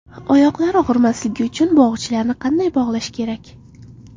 Oyoqlar og‘rimasligi uchun bog‘ichlarni qanday bog‘lash kerak?.